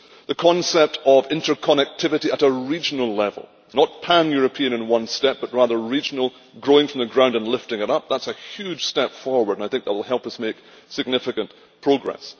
the concept of interconnectivity at a regional level not pan European in one step, but rather regional, growing from the ground and lifting it up that is a huge step forward, and I think that will help us make significant progress.